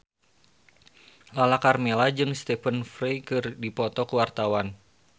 Lala Karmela jeung Stephen Fry keur dipoto ku wartawan